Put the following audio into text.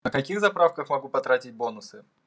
на каких заправках могу потратить бонусы